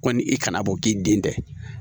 Kɔni i kana bɔ k'i den tɛ